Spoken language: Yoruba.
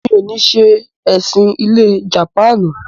mi ò ní se “ẹ̀sìn-ilẹ̀ jàpáànù”.